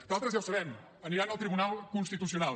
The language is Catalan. d’altres ja ho sabem aniran al tribunal constitucional